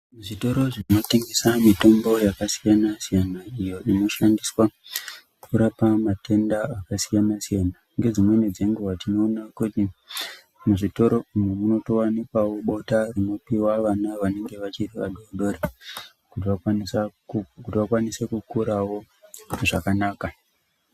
Zvitoro zvinotengesa mitombo yakasiyana siyana iyo inoshandiswa kurapa matenda akasiyana siyana. Nedzimweni dzenguwa tinoona kuti muzvitoro umu munowanikwawo bota rinopiwa vana vanenge vachiri vadoodori kuti vakwanise kukurawo zvakanaka.